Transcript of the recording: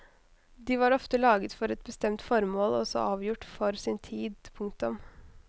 De var ofte laget for et bestemt formål og så avgjort for sin tid. punktum